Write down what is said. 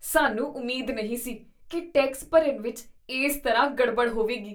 ਸਾਨੂੰ ਉਮੀਦ ਨਹੀਂ ਸੀ ਕੀ ਟੈਕਸ ਭਰਨ ਵਿਚ ਇਸ ਤਰ੍ਹਾਂ ਗੜਬੜ ਹੋਵੇਗੀ!